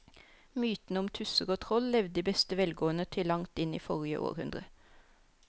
Mytene om tusser og troll levde i beste velgående til langt inn i forrige århundre.